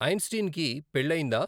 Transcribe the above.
ఐంస్టీన్కి పెళ్ళయ్యిందా?